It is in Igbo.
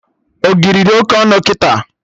Ogiri dị Oke ọnụ kịta